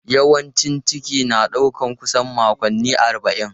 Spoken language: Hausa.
Yawancin ciki na ɗaukar kusan makonni arba'in.